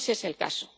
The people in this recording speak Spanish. No es ese el caso.